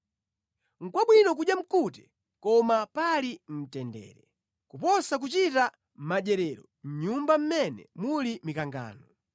Nʼkwabwino kudya mkute koma pali mtendere, kuposa kuchita madyerero mʼnyumba mʼmene muli mikangano.